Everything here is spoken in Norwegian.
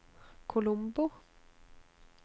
Colombo